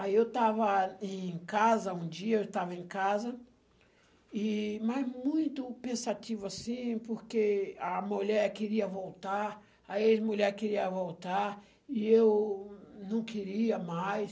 Aí eu estava em casa, um dia eu estava em casa, e mas muito pensativo assim, porque a mulher queria voltar, a ex-mulher queria voltar, e eu não queria mais.